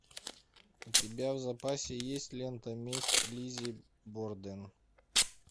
у тебя в запасе есть лента месть лиззи борден